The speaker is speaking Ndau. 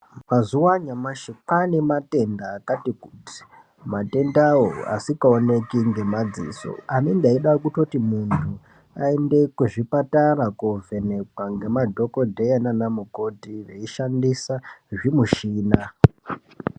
Mazuva anyamashi kwane matenda akati kuti matendawo asika oneki ngemadziso anenge eida kutoti muntu ayende kuzvipatara kovhenekwa ngemadhokodheya nana mukoti veishandisa zvimushina.